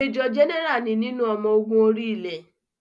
Mẹ́jọ̀ Jẹ́nẹ́rà ni nínú ọmọ ogun orí-ilẹ̀